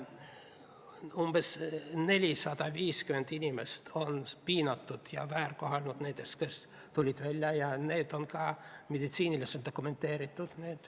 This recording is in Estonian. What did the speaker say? Umbes 450 inimest on piinatud ja väärkoheldud – nendest, kes tulid välja – ja need juhtumid on ka meditsiiniliselt dokumenteeritud.